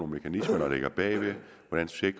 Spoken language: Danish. mekanismer der ligger bagved